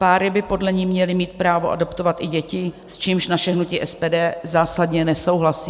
Páry by podle ní měly mít právo adoptovat i děti, s čímž naše hnutí SPD zásadně nesouhlasí.